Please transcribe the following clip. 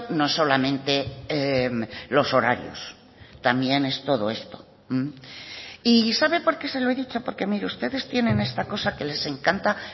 no solamente los horarios también es todo esto y sabe porque se lo he dicho porque mire ustedes tienen esta cosa que les encanta